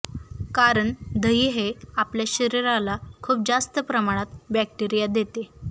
कारण दही हे आपल्या शरीराला खूप जास्त प्रमाणात बॅक्टरीया देते